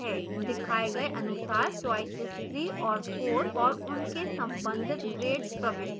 दिखाए गए अनुसार choices 3 और 4 और उनके संबंधित grades प्रविष्ट करें